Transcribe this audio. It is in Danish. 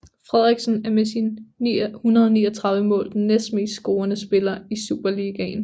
Frederiksen er med sine 139 mål den næstmest scorende spiller i Superligaen